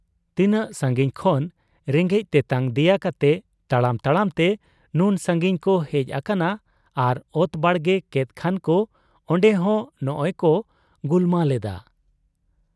ᱛᱤᱱᱟᱹᱜ ᱥᱟᱺᱜᱤᱧ ᱠᱷᱚᱱ ᱨᱮᱸᱜᱮᱡ ᱛᱮᱛᱟᱝ ᱫᱮᱭᱟ ᱠᱟᱛᱮ ᱛᱟᱲᱟᱢ ᱛᱟᱲᱟᱢ ᱛᱮ ᱱᱩᱱ ᱥᱟᱺᱜᱤᱧ ᱠᱚ ᱦᱮᱡ ᱟᱠᱟᱱᱟ ᱟᱨ ᱚᱛ ᱵᱟᱲᱜᱮ ᱠᱮᱫ ᱠᱷᱟᱱᱠᱚ ᱚᱱᱰᱮᱦᱚᱸ ᱱᱚᱸᱜᱻᱚᱭᱠᱚ ᱜᱩᱞᱢᱟᱞ ᱮᱫᱟ ᱾